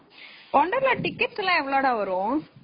Wonderla tickets எல்லாம் எவளோடா வரும்.